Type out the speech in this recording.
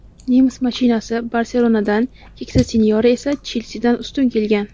"Nemis mashinasi" "Barselona"dan, "Keksa sinyora" esa "Chelsi"dan ustun kelgan.